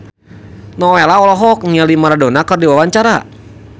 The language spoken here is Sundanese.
Nowela olohok ningali Maradona keur diwawancara